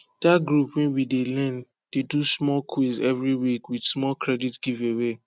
that group wey we dey learn dey do small quiz every week with small credit giveaway